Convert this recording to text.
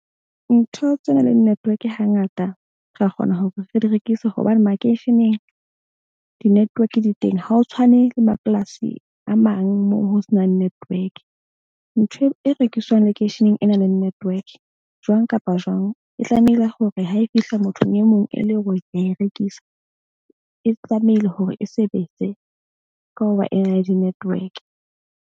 Ntho tse na leng network hangata ra kgona hore re di rekise, hobane makeisheneng di-network di teng. Ha ho tshwane le mapolasi a mang moo ho senang network. Ntho e rekiswang lekeisheneng e na leng network jwang kapa jwang e tlamehile hore ha e fihla mothong e mong e leng hore ke a e rekisa. E tlamehile hore e sebetse ka hoba ena le di-network.